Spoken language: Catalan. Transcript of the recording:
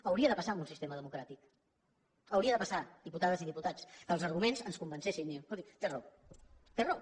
hauria de passar en un sistema democràtic hauria de passar diputades i diputats que els arguments ens convencessin i diguéssim escolti té raó té raó